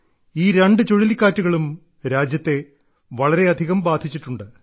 ഈ രണ്ട് ചുഴലിക്കാറ്റുകളും രാജ്യത്തെ വളരെയധികം ബാധിച്ചിട്ടുണ്ട്